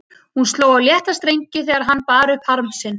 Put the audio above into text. Hún sló á létta strengi þegar hann bar upp harm sinn.